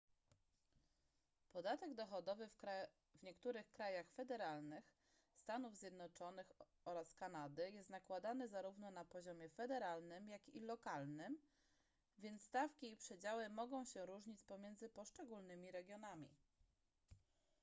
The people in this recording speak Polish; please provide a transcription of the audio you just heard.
podatek dochodowy w niektórych krajach federalnych stanów zjednoczonych oraz kanady jest nakładany zarówno na poziomie federalnym jak i lokalnym więc stawki i przedziały mogą się różnić pomiędzy poszczególnymi regionami